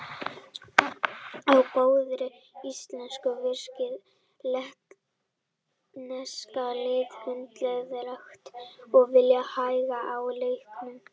Á góðri íslensku virkar lettneska liði hundleiðinlegt og vill hægja á leiknum.